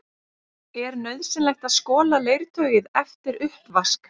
Er nauðsynlegt að skola leirtauið eftir uppvask?